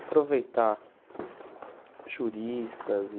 Aproveitar juristas e